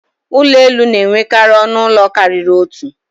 Ụlọ elu na-enwekarị ọnụ ụlọ karịrị otu.